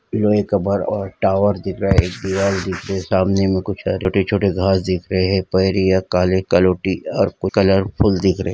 यहाँ एक कवर और टावर दिख रहा है एक दिवाल दिख रही है सामने में कुछ छोटे छोटे घास दिख रही है काळे कलोटी अर कलरफुल दिख रहे --